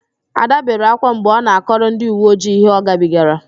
Ạda bere ákwá mgbe ọ na-akọrọ ndịuweojii ihe ọgabigara